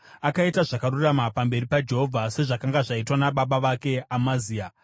Akaita zvakarurama pamberi paJehovha, sezvakanga zvaitwa nababa vake Amazia.